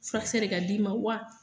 Furakisɛ de ka d'i ma wa?